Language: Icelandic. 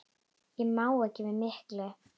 Ég má ekki við miklu.